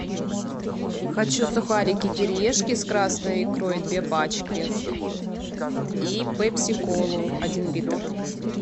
хочу сухарики кириешки с красной икрой две пачки и пепси колу один литр